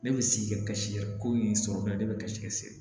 Ne bɛ sigi kɛ ka si ye ko in sɔrɔ ne bɛ kasi see